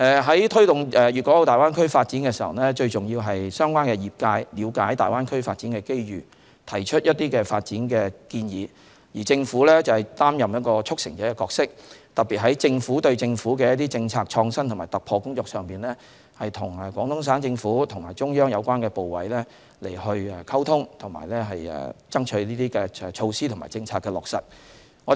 在推動粵港澳大灣區發展時，最重要是相關業界了解大灣區發展的機遇，提出發展建議，而政府則擔任一個"促成者"的角色，特別在政府對政府的政策創新和突破工作上，與廣東省政府和中央有關部委溝通，爭取措施和政策的落實。